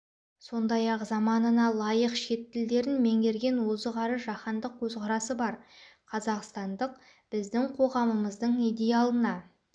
сондай-ақ заманына лайық шет тілдерін меңгерген озық әрі жаһандық көзқарасы бар қазақстандық біздің қоғамымыздың идеалына